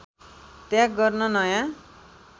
त्याग गर्न नयाँ